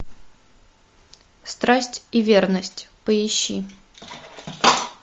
страсть и верность поищи